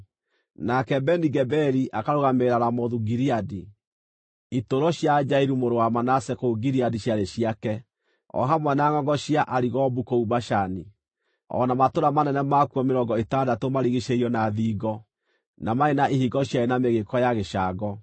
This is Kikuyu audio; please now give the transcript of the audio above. Nake Beni-Geberi akarũgamĩrĩra Ramothu-Gileadi (itũũro cia Jairu mũrũ wa Manase kũu Gileadi ciarĩ ciake, o hamwe na ngʼongo cia Arigobu kũu Bashani, o na matũũra manene makuo mĩrongo ĩtandatũ maarigiicĩirio na thingo, na maarĩ na ihingo ciarĩ na mĩgĩĩko ya gĩcango);